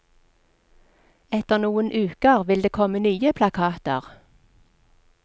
Etter noen uker vil det komme nye plakater.